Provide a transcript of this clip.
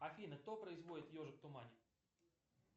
афина кто производит ежик в тумане